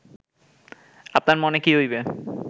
আপনার মনে কি হইবে